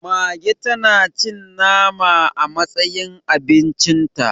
Mage tanacin nama a matsayin abincinta